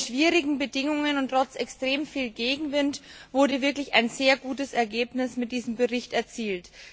Unter schwierigen Bedingungen und trotz extrem viel Gegenwind wurde wirklich ein sehr gutes Ergebnis mit diesem Bericht erzielt.